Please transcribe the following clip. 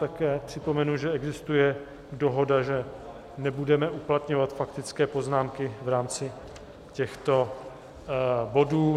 Také připomenu, že existuje dohoda, že nebudeme uplatňovat faktické poznámky v rámci těchto bodů.